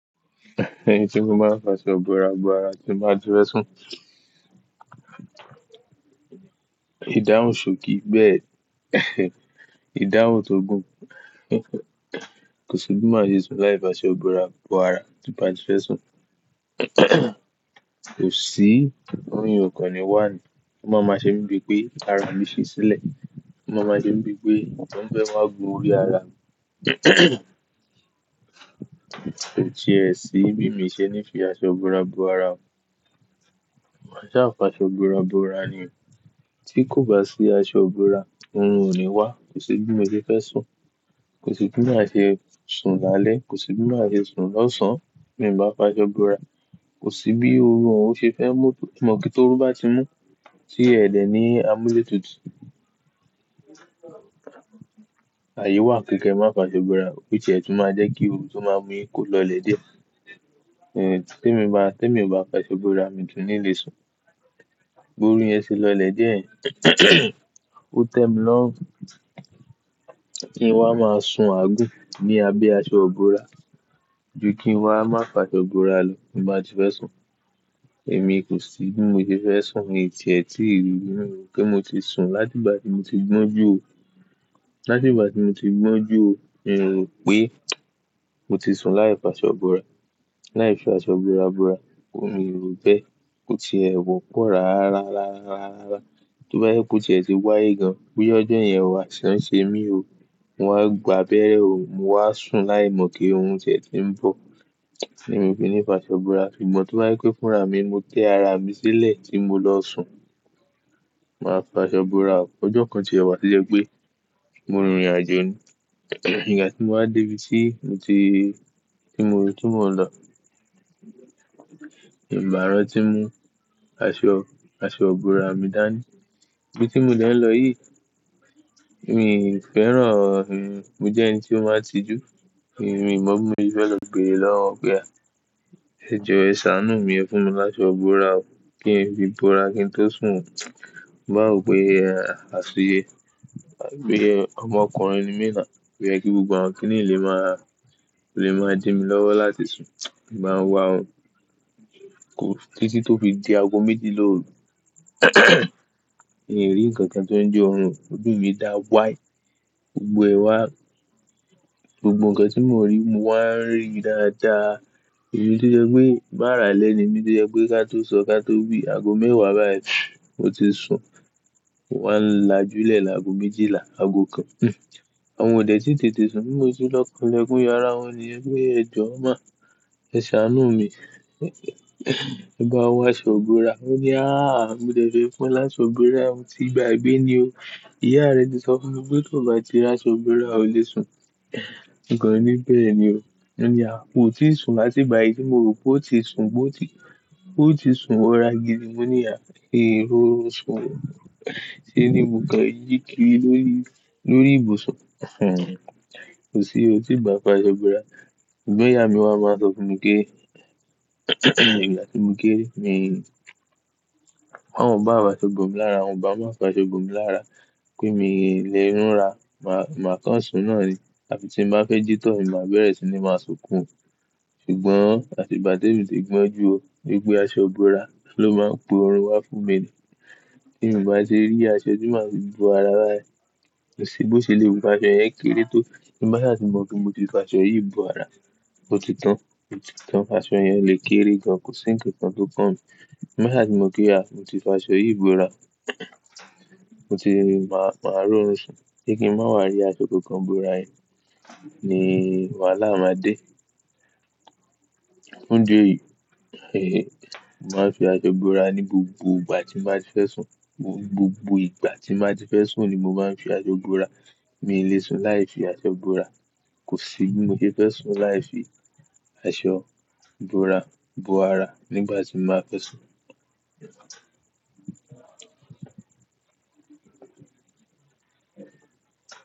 Ẹni tí mo máa ń fà ṣọ bóra bóra tí máa ti fẹ́ sùn. Idahun ṣòkì bẹ́ẹ̀, ìdáhùn tó gùn, kò sí bí mo ṣe lè sùn láì fà ṣọ bóra bóra tí mo bá ti fẹ́ sùn. Kò sí orún o kànnì wa ni. Ó máa máa ṣe mí bíi pé ara mi ṣe sílẹ̀. Ó máa máa ṣe mí bíi pé nǹkan ń bẹ wá bo orí ara mi. Tìẹ̀ sí mi mi ṣe ní fi aṣọ búra búra. Mo máa ṣa fi aṣo ibora bora nì. Tí kò bá sí aṣọ ibóra, orin ò ní wá. Kò sí bí mo ṣe fẹ́ sùn. Kò sí bí mo ṣe sùn lálẹ́. Kò sí bí mo ṣe sùn lọ́sàn-án bí mo bá fà ṣọ bóra. Kò sí bí orun òún ṣe fẹ́ mú, mo kí tó rú bá ti mú sí ẹ̀dẹ̀ ní amuletutu. Ààyè wà kékeré má fá ṣọ búra, tìẹ̀ tún máa jẹ́ kí ohun tó máa mú yìí kó lọlẹ̀ díẹ̀. Eh, tí mi bá, tí èmi ò bá fà ṣọ búra mi tún ní lè sùn. Borí yẹn ṣe lọlẹ̀ díẹ̀, ó tẹ́ mi lọ́run. Kí n wa máa sùn aagun ní abẹ́ aṣọ ibóra. Ju kí n wa má fá ṣọ bóra lọ ní bá ti fẹ́ sùn. Èmi kò sí bí mo ti fẹ́ sùn, èyí tìẹ̀ tí ìrírí náà ló pé mo ti sùn láti ìgbà tí mo ti gbọ́ń jú ò. Láti ìgbà tí mo ti gbọ́ń jú ò, mo rò pé mo ti sùn láì fà ṣọ bóra. Láì fi aṣọ ibóra bóra, òun mi ò rò pé ó ti ẹ̀wọ̀ kùrá rárá, rárá, rárá. Tóbá yẹ kó ti ẹ̀ ti wáyé gan, pé ọjọ́ yẹn wà aiṣán ṣe mí ò, mo á gbàbẹ́ ò, mo wá sùn láìmọ̀ kí ohun tìẹ̀ tí ń bọ̀. Kíni mi fi ní fà ṣọ bóra. Ṣùgbọ́n tó bá yí pé fúnra mi, mo tẹ́ ara mi sílẹ̀ tí mo lọ sùn. Màá fà ṣọ bóra kán, ọjọ́ kan tìẹ̀ wá lé e pé. Mo rin ìrìnàjò ni. Ìgbà tí mo wá dé ibi tí mo ti, tí mo ti mo lọ, èmi o bàá rantí mú aṣọ, aṣọ búra mi dání. Bí tí mo dẹ̀ ń lọ yìí, èmi fẹ́ràn, èmi jẹ́ ẹni tí ó má ń tijú. Èmi ò mọ bí mo ti fẹ́ lọ béere lọ́wọ́ wọ̀n pẹ á. Ẹ jọ ṣàánù mi ẹ fún mi láṣọ bóra ó, kí ẹ̀ fi bóra kí n tó sùn. Mo máa ò pé àsúyé. Pé ọmọkùnrin ni mí náà. Mo yẹ kí gbogbo àwọn kíní lè máa, lè máa dín mi lọ́wọ́ láti sùn. Mo máa ń wá òun. Kò, títí tó fi di aago méjì lóru. Èmi rí nǹkan tí ó ń je ọrùn, ojú mi dá wáì. Gbogbo ẹ wá, gbogbo nǹkan tí mo rí mo wá ń rí dáadáa. Èyí tí jẹ́ pé má ràlẹ́ ni, èmi tí jẹ́ pé ká tó sọ ká tó wí aago mẹ́wàá bá ẹ mo ti sùn. Mo wá ń lajú lè lá aago méjìlà, aago kan. Hmm. Àwọn òdẹ̀ tí tètè sanwó sí lọ́kàn ilẹ̀kùn yara wọ́n nìyẹn pé ẹ̀jọ̀ máa ṣàánù mi. Ẹ bá òun fà ṣọ ibora. Ó ní "áà, mo dẹ̀ fẹ́ fún ẹ láṣọ ibora, mo ti gba gbé ní o. Ìyá rẹ ti sọ fún mi pé tó bá ti rà ṣọ bora o lè sùn." Òǹkọ mi bẹ́ẹ̀ ni o. Mo ní "à, mo ti sùn láti ìgbà yìí, mo rò pé ó ti sùn, bó ti, bó ti sùn ó ra gidi." Mo ní "à, mi ri òrun sùn o." Ṣé ni mo kọ yí kí ri lórí, lórí ibùsun. Kò sí, ó ti bá fà ṣọ búra. Ṣùgbọ́n ìyá mi wá máa ń sọ fún mi pé ní ìgbà tí mo kére ni wọ́n ò bá fà ṣọ bora mi lára, wọn bá máa fà ṣọ búra mi lára pé mi ò lè rúnra. Màá, màá kán sùn náà ni. Àbí tí mo bá fẹ́ jí tọ̀, èmi máa bẹ̀rẹ̀ sí ní máa sunkún. Ṣùgbọ́n àti ìgbà tí èmi ti gbọ́ń jú ò, pé pé aṣọ búra ló máa ń po irun wá fún mi ni. Tí èmi bá ṣe rí aṣọ, èmi máa fi búra bá ẹ. Kò sí bó ṣe lè bu aṣọ yẹn kéré tó. Ẹ má ṣe mọ̀ pé mo ti fà ṣọ yìí búra. Ó ti tán, ó ti tán. Aṣọ yẹn lè kéré gan, kò sí ńkan kan tó kàn mí. Ẹ má ṣe mọ̀ pé à, mo ti fà ṣọ yìí bóra. Mo ti máa, máa rí òun sùn. Kí n kí n máa wá rí aṣọ kankan bora yìí ni wàhálà máa dé. Ní ju èyí, èyí, màá fi aṣọ búra ní gbogbo ìgbà tí màá ti fẹ́ sùn. Gbogbo ìgbà tí màá ti fẹ́ sùn ni mo máa ń fi aṣọ bóra. Mi ò lè sùn láì fi aṣọ bóra. Kò sí bí mo ti fẹ́ sùn láì fi aṣọ ibora bora nígbà tí màá fẹ́ sùn.